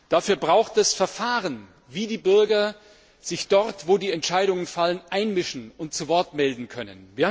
Dafür braucht man Verfahren, wie die Bürger sich dort, wo die Entscheidungen fallen, einmischen und zu Wort melden können.